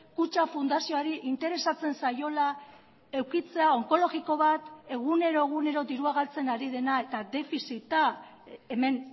kutxa fundazioari interesatzen zaiola edukitzea onkologiko bat egunero egunero dirua galtzen ari dena eta defizita hemen